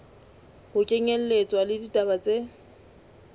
ho kenyelletswa le ditaba tse